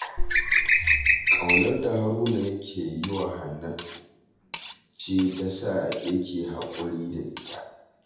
Ƙaunar da Haruna yake yi wa Hannatu ce ta sa yake haƙuri da ita